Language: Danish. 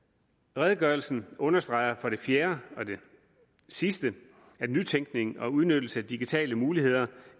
redegørelsen understreger for det fjerde og det sidste at nytænkning og udnyttelse af digitale muligheder